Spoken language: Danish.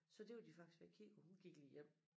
Så det var de faktisk ved at kigge på hun gik lige hjem